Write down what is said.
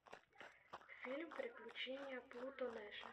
фильм приключения плуто нэша